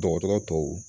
Dɔgɔtɔrɔ tɔw